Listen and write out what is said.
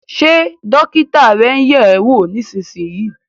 Ṣé dókítà rẹ ń yẹ̀ ẹ́ wò nísinsìnyí?